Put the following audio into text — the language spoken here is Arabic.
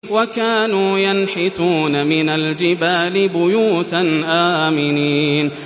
وَكَانُوا يَنْحِتُونَ مِنَ الْجِبَالِ بُيُوتًا آمِنِينَ